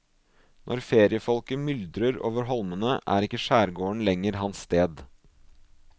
Når feriefolket myldrer over holmene, er ikke skjærgården lenger hans sted.